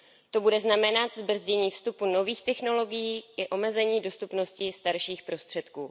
To bude znamenat zbrzdění vstupu nových technologií i omezení dostupnosti starších prostředků.